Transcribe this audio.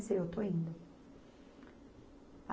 Seu. Eu estou indo.